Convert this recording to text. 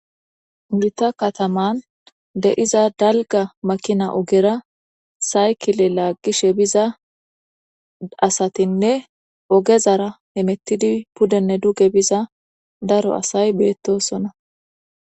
Gita kataman de7iza dalga makina ogera saykile laaggishe biza asatinne ogezara emettidi pudenne duge biza daro asay beettosona